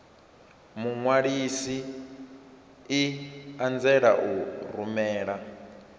muṅwalisi i anzela u rumela